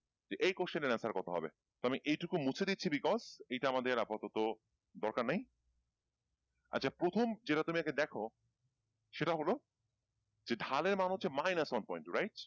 যে এই question এর answer কত হবে। তো আমি এইটুকু মুছে দিচ্ছি because এটা আমাদের আপাতত দরকার নাই আচ্ছা প্রথম যেটা তুমি আগে দেখো সেটা হলো যে ঢালের মান হচ্ছে minus one point right?